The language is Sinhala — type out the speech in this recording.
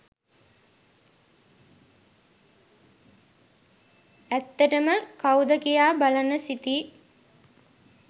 ඇත්තටම කවුද කියා බලන්න සිතී